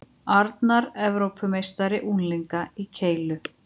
Arnar Evrópumeistari unglinga í keilu